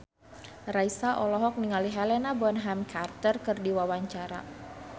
Raisa olohok ningali Helena Bonham Carter keur diwawancara